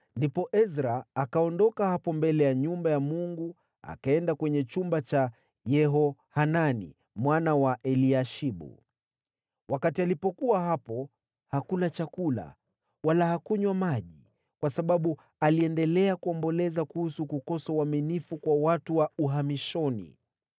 Ndipo Ezra akaondoka hapo mbele ya nyumba ya Mungu akaenda kwenye chumba cha Yehohanani mwana wa Eliashibu. Wakati alipokuwa hapo, hakula chakula wala hakunywa maji, kwa sababu aliendelea kuomboleza kuhusu kukosa uaminifu kwa watu wa uhamishoni.